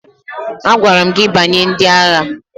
Agwara m gị banye ndị agha!